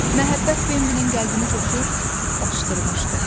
Məhəbbət Bambinin qəlbini coşub daşdırmışdı.